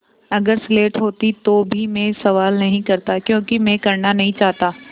अगर स्लेट होती तो भी मैं सवाल नहीं करता क्योंकि मैं करना नहीं चाहता